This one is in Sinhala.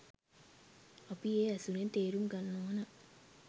අපි ඒ ඇසුරෙන් තේරුම් ගන්න ඕන.